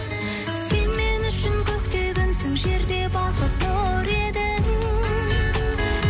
сен мен үшін көкте күнсің жерде бақыт нұр едің